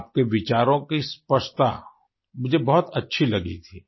आपके विचारों की स्पष्टता मुझे बहुत अच्छी लगी थी